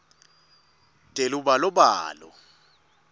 telubalobalo